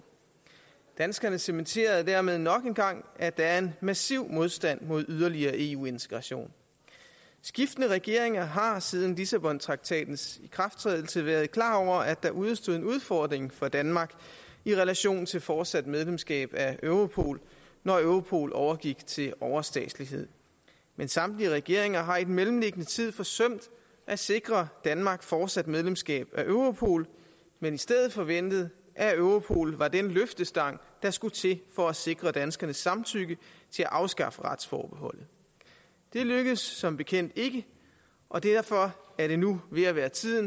danskerne cementerede dermed nok en gang at der er en massiv modstand mod yderligere eu integration skiftende regeringer har siden lissabontraktatens ikrafttrædelse været klar over at der udestod en udfordring for danmark i relation til fortsat medlemskab af europol når europol overgik til overstatslighed men samtlige regeringer har i den mellemliggende tid forsømt at sikre danmark fortsat medlemskab af europol men i stedet forventet at europol var den løftestang der skulle til for at sikre danskernes samtykke til at afskaffe retsforbeholdet det lykkedes som bekendt ikke og derfor er det nu ved at være tid